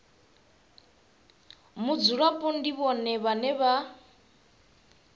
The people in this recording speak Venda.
mudzulapo ndi vhone vhane vha